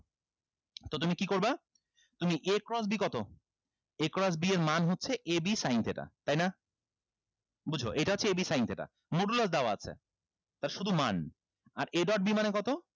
তো তুমি কি করবা তুমি a cross b কত a cross b এর মান হচ্ছে ab sin theta তাই না বুঝো এটা হচ্ছে ab sin theta modular দেওয়া আছে তার শুধু মান আর a dot b মানে কত